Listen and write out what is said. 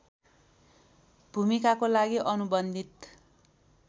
भूमिकाको लागि अनुबन्धित